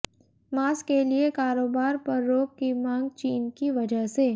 मांस के लिए कारोबार पर रोक की मांग चीन की वजह से